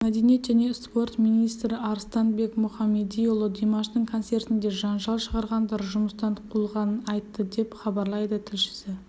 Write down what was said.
мәдениет және спорт министрі арыстанбек мұхамедиұлы димаштың концертінде жанжал шығарғандар жұмыстан қуылғанын айтты деп хабарлайды тілшісі